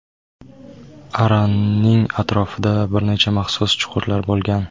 Aranning atrofida bir necha maxsus chuqurlar bo‘lgan.